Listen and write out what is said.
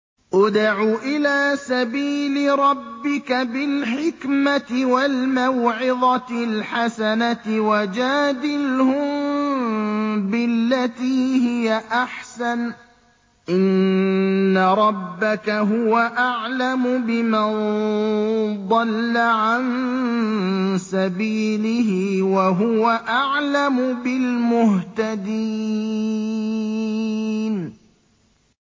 ادْعُ إِلَىٰ سَبِيلِ رَبِّكَ بِالْحِكْمَةِ وَالْمَوْعِظَةِ الْحَسَنَةِ ۖ وَجَادِلْهُم بِالَّتِي هِيَ أَحْسَنُ ۚ إِنَّ رَبَّكَ هُوَ أَعْلَمُ بِمَن ضَلَّ عَن سَبِيلِهِ ۖ وَهُوَ أَعْلَمُ بِالْمُهْتَدِينَ